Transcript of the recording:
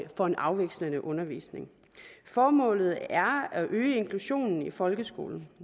får en afvekslende undervisning formålet er at øge inklusionen i folkeskolen